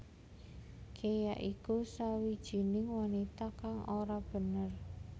Ke ya iku sawijining wanita kang ora bener